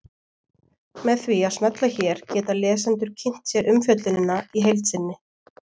Með því að smella hér geta lesendur kynnt sér umfjöllunina í heild sinni.